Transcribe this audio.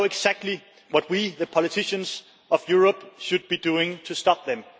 and we know exactly what we, the politicians of Europe, should be doing to stop them.